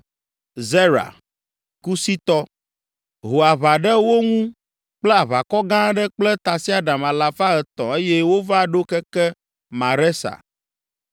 Zera, Kusitɔ, ho aʋa ɖe wo ŋu kple aʋakɔ gã aɖe kple tasiaɖam alafa etɔ̃ eye wova ɖo keke Maresa.